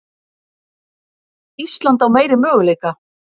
Ísland á meiri möguleika